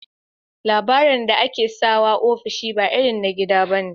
Labirin da akesawa ofishi ba irin na gida bane